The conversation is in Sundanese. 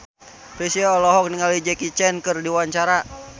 Chrisye olohok ningali Jackie Chan keur diwawancara